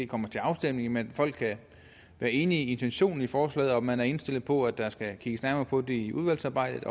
kommer til afstemning men folk er enige i intentionen i forslaget og man er indstillet på at der skal kigges nærmere på det i udvalgsarbejdet